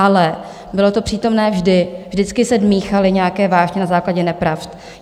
Ale bylo to přítomné vždy, vždycky se míchaly nějaké vášně na základě nepravd.